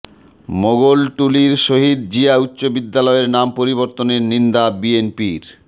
মোগলটুলীর শহীদ জিয়া উচ্চ বিদ্যালয়ের নাম পরিবর্তনের নিন্দা বিএনপির